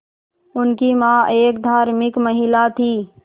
उनकी मां एक धार्मिक महिला थीं